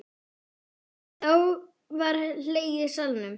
Var þá hlegið í salnum.